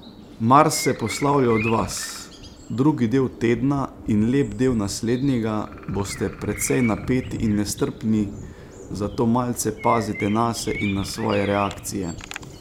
Mars se poslavlja od vas, drugi del tedna in lep del naslednjega boste precej napeti in nestrpni, zato malce pazite nase in na svoje reakcije.